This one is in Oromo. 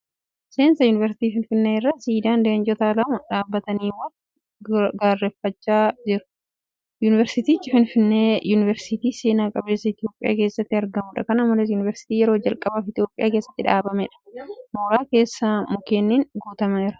Seensa yuunivarsiitii Finfinnee irra siidaan leencota lamaa dhaabbatanii wal gaarreffachaa juru. Yuunivarsiitiin Finfinneee yuunivarsiitii seena qabeessa Itoophiyaa keessatti argamuudha. Kana malees, Yuunivarsiitii yeroo jalqabaaf Itoophiyaa keessatti banameedha. Mooraa keessi mukkeeniin guutameera.